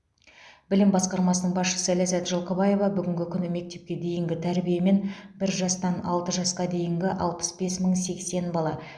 білім басқармасының басшысы ләззат жылқыбаева бүгінгі күні мектепке дейінгі тәрбиемен бір жастан алты жасқа дейінгі алпыс бес мың сексен бала